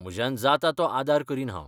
म्हज्यान जाता तो आदार करीन हांव.